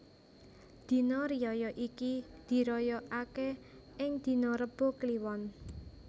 Dina riyaya iki diraya ake ing dina Rebo Kliwon